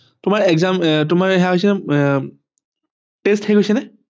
তোমাৰ exam আহ তোমাৰ সেয়া হৈছে আহ test শেষ হৈছে নে